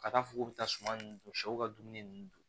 Ka taa fɔ k'u bɛ taa suma ninnu dun sɛw ka dumuni ninnu don